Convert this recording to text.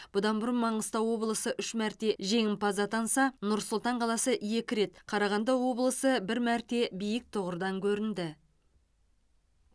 бұдан бұрын маңғыстау облысы үш мәрте жеңімпаз атанса нұр сұлтан қаласы екі рет қарағанды облысы бір мәрте биік тұғырдан көрінді